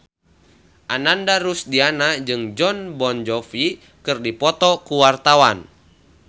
Ananda Rusdiana jeung Jon Bon Jovi keur dipoto ku wartawan